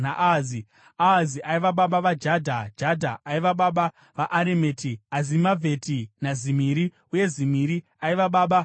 Ahazi aiva baba vaJadha, Jadha aiva baba vaAremeti, Azimavheti naZimiri, uye Zimiri aiva baba vaMoza.